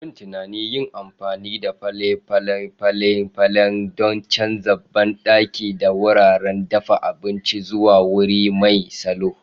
Yin tunanin yin amfani da fale-falen fale-falen don canza banɗaki da wuraren dafa abinci zuwa wuri mai salo